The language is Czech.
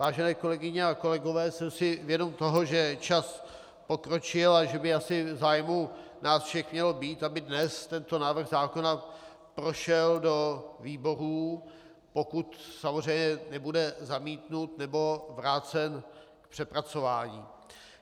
Vážené kolegyně a kolegové, jsem si vědom toho, že čas pokročil a že by asi v zájmu nás všech mělo být, aby dnes tento návrh zákona prošel do výborů, pokud samozřejmě nebude zamítnut nebo vrácen k přepracování.